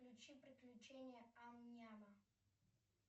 включи приключения ам няма